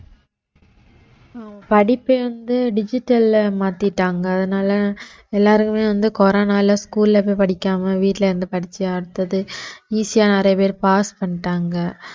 அஹ் படிப்பு வந்து digital ல மாத்திட்டாங்க அதனால எல்லாருக்குமே வந்து கொரோனால school ல போய் படிக்காம வீட்டுல இருந்து படிச்சு அடுத்தது easy ஆ நிறைய பேர் pass பண்ணிட்டாங்க